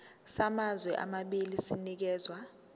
samazwe amabili sinikezwa